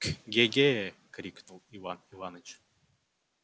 ге-ге крикнул иван иваныч